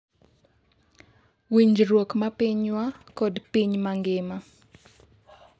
winjruok mar pinywa kod piny mangima